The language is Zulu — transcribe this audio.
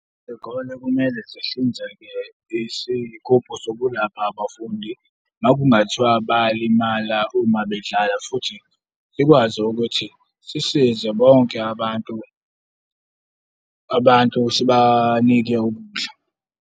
Iy'kole kumele sihlinzeke isigubhu sokulapha abafundi. Uma kungathiwa bayalimala uma bedlala futhi sikwazi ukuthi sisize bonke abantu, abantu sibanike ukudla.